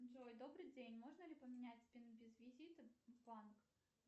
джой добрый день можно ли поменять пин без визита в банк